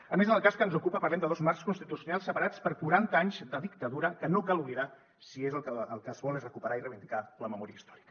a més en el cas que ens ocupa parlem de dos marcs constitucionals separats per quaranta anys de dictadura que no cal oblidar si és que el que es vol és recuperar i reivindicar la memòria històrica